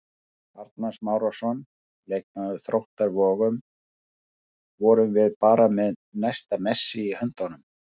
Arnar Smárason, leikmaður Þróttar Vogum: Vorum við bara með næsta Messi í höndunum?